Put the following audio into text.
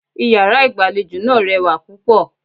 Iyàrá ìgbàlejò náà rewà púpọ̀